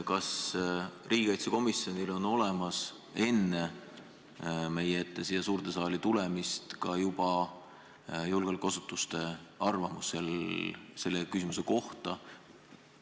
Kas riigikaitsekomisjonil on enne siia suurde saali meie ette tulemist olemas ka julgeolekuasutuste arvamus selle küsimuse kohta?